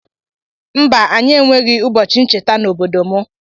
Mba anyi enweghi ụbọchi ncherta na obodo mu.